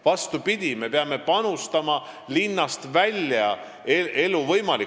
Vastupidi, me peame panustama elu võimalikkusesse linnast väljas.